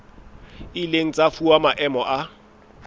ileng tsa fuwa maemo a